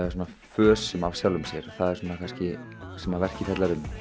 fösum af sjálfum sér það er kannski það sem verkið fjallar um